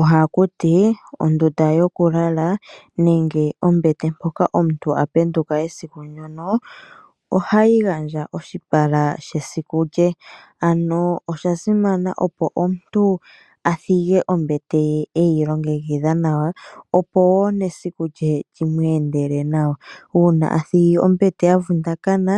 Ohakuti ondunda yokulala nenge ombete mpoka omuntu apenduka esiku lye ano oshasimana opo omuntu opo omuntu athige ombete ye eyilongekidha nawa opo woo nesiku li mu endele nawa ,uuna athigi ombete yavundakana